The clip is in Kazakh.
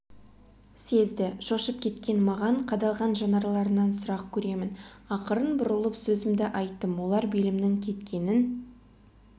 сезді шошып кеткен маған қадалған жанарларынан сұрақ көремін ақырын бұрылып сөзімді айттым олар белімнің кеткенін